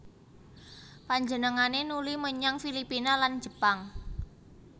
Panjenengané nuli menyang Filipina lan Jepang